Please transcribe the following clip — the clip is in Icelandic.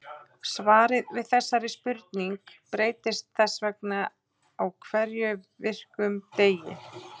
Svarið við þessari spurning breytist þess vegna á hverjum virkum degi.